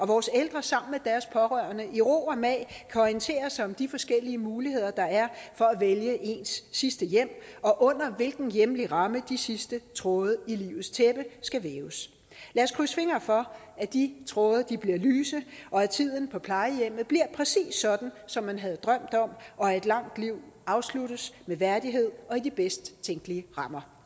vores ældre sammen med deres pårørende i ro og mag kan orientere sig om de forskellige muligheder der er for at vælge ens sidste hjem og under hvilken hjemlig ramme de sidste tråde i livets tæppe skal væves lad os krydse fingre for at de tråde bliver lyse og at tiden på plejehjemmet bliver præcis sådan som man havde drømt om og at et langt liv afsluttes med værdighed og i de bedste tænkelige rammer